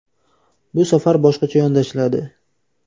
Bu safar boshqacha yondashiladi.